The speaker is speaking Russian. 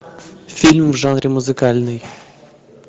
фильм в жанре музыкальный